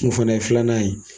O fɛnɛ ye filanan ye.